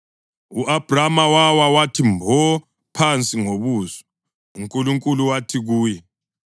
U-Abhrama wawa wathi mbo phansi ngobuso, uNkulunkulu wathi kuye,